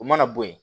U mana bɔ yen